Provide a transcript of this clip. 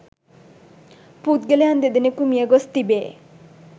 පුද්ගලයන් දෙදෙනෙකු මිය ගොස් තිබේ